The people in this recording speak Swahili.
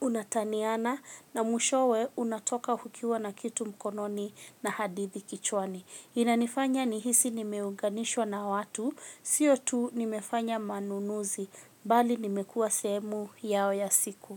unataniana na mwishowe unatoka hukiwa na kitu mkononi na hadithi kichwani. Inanifanya nihisi nimeunganishwa na watu, sio tu nimefanya manunuzi, bali nimekua seemu yao ya siku.